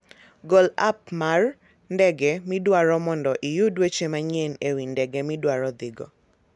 Gol app mar ndege midwaro mondo iyud weche manyien e wi ndege midwaro dhigo.